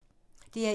DR1